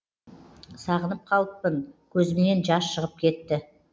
сағынып қалыппын көзімнен жас шығып кетті